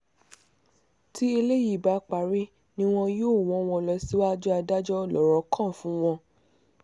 tí eléyìí bá parí ni wọn yóò wọ́ wọn lọ síwájú adájọ́ lọ̀rọ̀ kan fún wọn